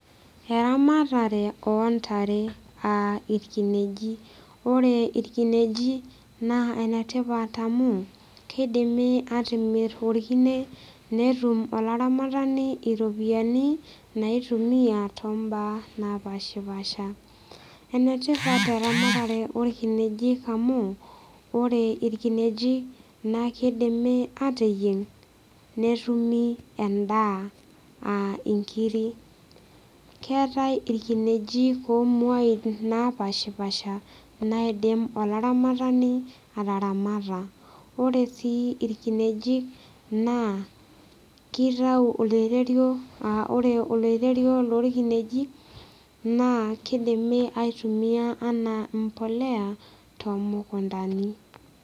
Eramatare ontare aa irkineji ore irkineji naa enetipat amu keidimi atimirr orkine netum olaramatani iropiyiani naitumia tombaa napashipasha enetipat eramatare orkinejik amu ore irkinejik naa kidimi ateyieng netumi endaa aa inkiri keetae irkinejik omuain napashipasha naidim olaramatani ataramata ore sii irkinejik naa kitau oloirerio aa ore oloirerio lorkinejik naa kidimi aitumiyia anaa mpoleya tomukuntani.